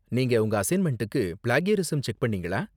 நீங்க உங்க அசைன்மெண்ட்டுக்கு பிளேக்யரிஸம் செக் பண்ணீங்களா?